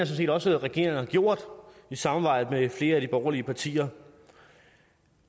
set også regeringen har gjort i samarbejde med flere af de borgerlige partier